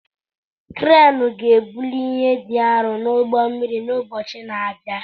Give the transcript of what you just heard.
Kreenụ ga-ebuli ihe dị arọ n'ụgbọ mmiri n'ụbọchị na-abịa.